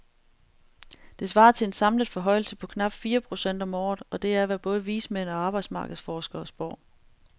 Det svarer til en samlet forhøjelse på knap fire procent om året, og det er, hvad både vismænd og arbejdsmarkedsforskere spår.